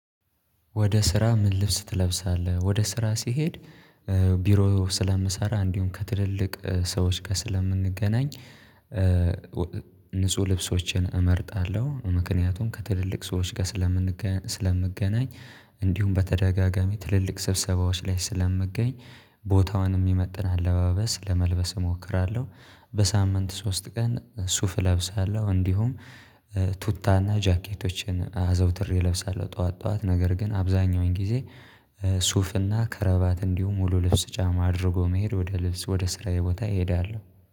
ወደ? ስራ ምን ልብስ ትለብሳለህ ወደ ስራ ሲሄድ ቢሮ ስለምሰራ እንዲሁም ከትልልቅ ሰዎች ጋር ስለምንገናኝ። ንጹህ ልብሶችን እመርጣለሁ። ምክንያቱም ከትልልቅ ሰዎች ጋር ስለምንገኝ ስለምገናኝ እንዲሁም በተደጋጋሚ ትልልቅ ስብሰባዎች ላይ ስለምገኝ ቦታዋን የሚመጥን አለባበስ ለመልበስ እሞክራለሁ። በሳምንት ሶስት ቀን ሱፍ እለብሳለሁ። እንዲሁም ቱታና ጃኬቶችን አዘውትሬ እለብሳለሁ። ጠዋት ጠዋት ነገር ግን አብዛኛውን ጊዜ። ሱፍና ከረባት እንዲሁ ሙሉ ልብስ ጫማ አድርጎ መሄድ ወደ ልብስ ወደ ስራዬ ቦታ እሄዳለሁ